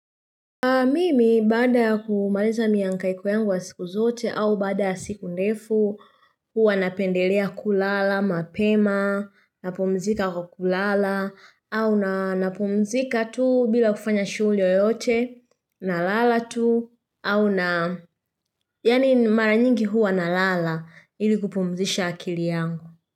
Mimi baada kumaliza mihangaiko yangu ya siku zote au baada siku ndefu huwa napendelea kulala mapema napumzika kwa kulala au napumzika tu bila kufanya shugli yoyote nalala tu au na yani mara nyingi huwa nalala ili kupumzisha akili yangu.